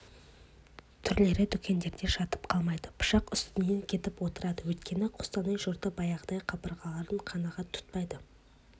түрлері дүкендерде жатып қалмайды пышақ үстінен кетіп отырады өйткені қостанай жұрты баяғыдай табылғанын қанағат тұтпайды